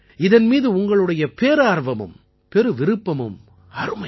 இதன் மீது உங்களுடைய பேரார்வமும் பெருவிருப்பமும் அருமை